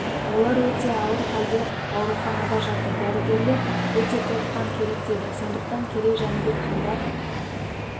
олар өте ауыр халде ауруханада жатыр дәрігерлер өте көп қан керек дейді сондықтан керей-жәнібек хандар